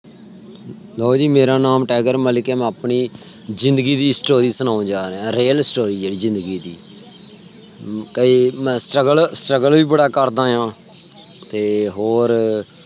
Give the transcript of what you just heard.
ਲਓ ਜੀ ਮੇਰਾ ਨਾਮ ਟਾਈਗਰ ਮਲਿਕ ਹੈ। ਮੈਂ ਆਪਣੀ ਜ਼ਿੰਦਗੀ ਦੀ story ਸਨੋਣ ਜਾ ਰਿਆਂ real story ਆ ਜੀ ਜਿੰਦਗੀ ਦੀ। ਕਈ ਮੈਂ struggle ਵੀ ਬੜਾ ਕਰਦਾ ਆ। ਤੇ ਹੋਰ